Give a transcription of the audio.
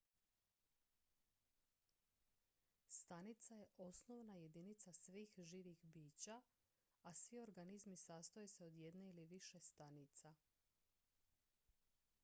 stanica je osnovna jedinica svih živih bića a svi organizmi sastoje se od jedne ili više stanica